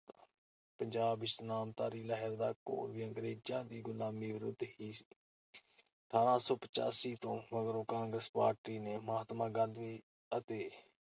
ਪੰਜਾਬ ਵਿਚ ਨਾਮਧਾਰੀ ਲਹਿਰ ਦਾ ਘੋਲ ਵੀ ਅੰਗੇਰਜ਼ਾਂ ਦੀ ਗੁਲਾਮੀ ਵਿਰੁੱਧ ਹੀ ਸੀ। ਅਠਾਰਾਂ ਸੌ ਪੱਚਾਸੀ ਤੋਂ ਮਗਰੋਂ ਕਾਂਗਰਸ ਪਾਰਟੀ ਨੇ ਮਹਾਤਮਾ ਗਾਂਧੀ ਅਤੇ